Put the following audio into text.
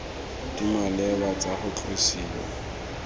di maleba tsa go tlosiwa